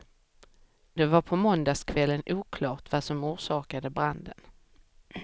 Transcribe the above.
Det var på måndagskvällen oklart vad som orsakade branden.